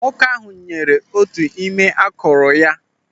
Nwoke ahụ nyere otu n'ime akụrụ ya.